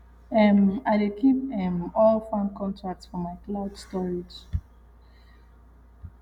um i dey keep um all farm contracts for my cloud storage